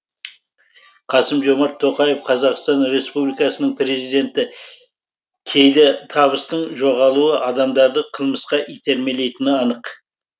қасым жомарт тоқаев қазақстан республикасының президенті кейде табыстың жоғалуы адамдарды қылмысқа итермелейтіні анық